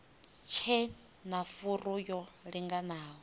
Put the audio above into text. tshe na furu yo linganaho